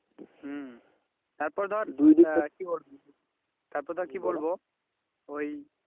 হম তারপরে ধর আহ কি বলব তারপরে ধর কি বলবো ওই